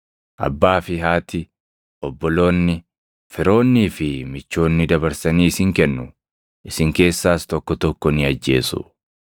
Abbaa fi haati, obboloonni, firoonnii fi michoonni dabarsanii isin kennu; isin keessaas tokko tokko ni ajjeesu.